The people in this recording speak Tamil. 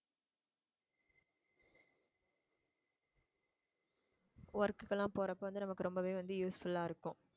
work க்கு எல்லாம் போறப்போ வந்து நமக்கு ரொம்பவே வந்து useful ஆ இருக்கும்